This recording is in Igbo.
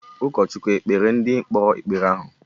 Ụkọchukwu e kpeere ndị mkpọrọ ekpere unyaahụ?